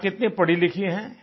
माँ कितनी पढ़ीलिखी हैं